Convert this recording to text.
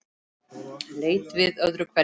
Leit við öðru hverju.